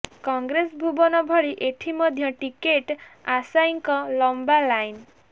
କଂଗ୍ରେସ ଭବନ ଭଳି ଏଠି ମଧ୍ୟ ଟିକେଟ୍ ଆଶାୟୀଙ୍କ ଲମ୍ବା ଲାଇନ୍